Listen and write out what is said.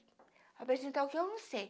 Apresentar o que eu não sei.